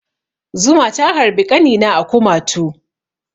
Zuma ta harbi ƙanina a kumatu.